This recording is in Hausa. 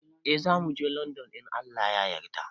Eh zamuje london a wannan shekarar